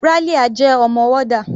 Ralia jẹ́ ọmọ warder.